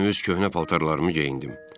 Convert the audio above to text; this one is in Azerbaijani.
Yenə öz köhnə paltarlarımı geyindim.